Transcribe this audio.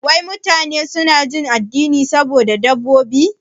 Wai mutane suna jin dadin saduwa da dabbobi?